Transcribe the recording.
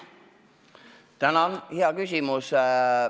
Tänan, hea küsimus!